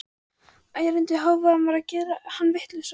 Ærandi hávaðinn var að gera hann vitlausan.